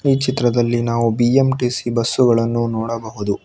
ಈ ಚಿತ್ರದಲ್ಲಿ ನಾವು ಬಿ_ಎಂ_ಟಿ_ಸಿ ಬಸ್ಸುಗಳನ್ನು ನೋಡಬಹುದು.